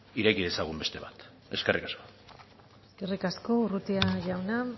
ireki dezagun beste bat eskerrik asko eskerrik asko urrutia jauna